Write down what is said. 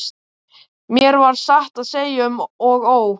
Mér varð satt að segja um og ó.